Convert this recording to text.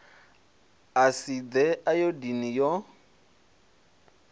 a si ḓe ayodini yo